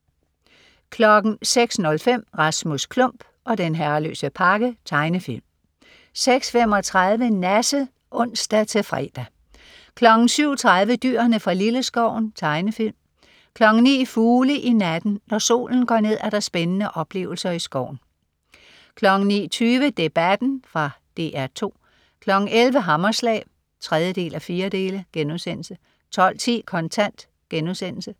06.05 Rasmus Klump og den herreløse pakke. Tegnefilm 06.35 Nasse (ons-fre) 07.30 Dyrene fra Lilleskoven. Tegnefilm 09.00 Fugle i natten. Når solen går ned er der spændende oplevelser i skoven 09.20 Debatten. Fra DR 2 11.00 Hammerslag 3:4* 12.10 Kontant*